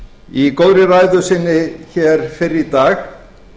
í góðri ræðu sinni fyrr í dag